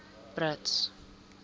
brits